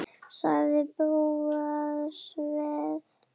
sagði Bóas þver